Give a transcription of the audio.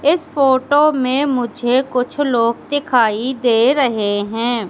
इस फोटो में मुझे कुछ लोग दिखाई दे रहे है।